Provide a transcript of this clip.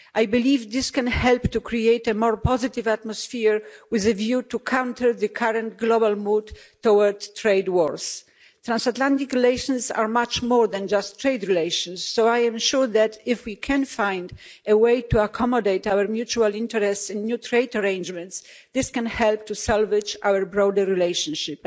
I believe this can help to create a more positive atmosphere with a view to countering the current global mood towards trade wars. Transatlantic relations are much more than just trade relations, so I am sure that if we can find a way to accommodate our mutual interests in new trade arrangements, this can help to salvage our broader relationship.